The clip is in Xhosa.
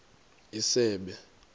isebe